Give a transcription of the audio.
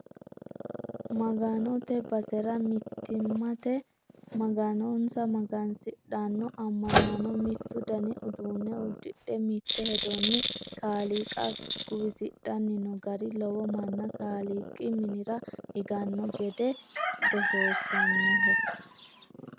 Maganote basera mittimmatenni Maganonsa magansidhano amanano mitu dani uduune uddidhe mite hedoni kaaliiqa guwisidhanni no gari lowo manna kaaliiqi minira higano gese goshoshanoho.